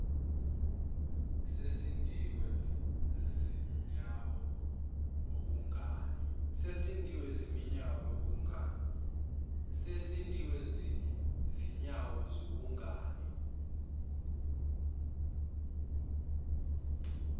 sesisindwe zinyawo bhungane